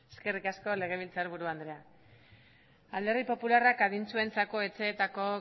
eskerrik asko legebiltzar buru andrea alderdi popularrak adintsuentzako etxeetako